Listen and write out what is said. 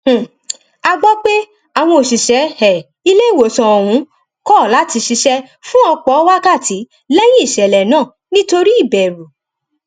um a gbọ pé àwọn òṣìṣẹ um iléìwòsàn ọhún kọ láti ṣiṣẹ fún ọpọ wákàtí lẹyìn ìṣẹlẹ náà nítorí ìbẹrù